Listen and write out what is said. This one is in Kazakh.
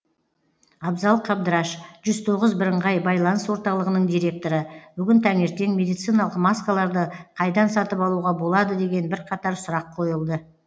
абзал қабдыраш жүз тоғыз бірыңғай байланыс орталығының директоры бүгін таңертең медициналық маскаларды қайдан сатып алуға болады деген бірқатар сұрақ қойылды